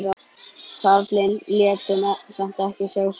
Karlinn lét samt ekki sjá sig.